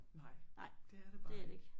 Nej det er det bare ikke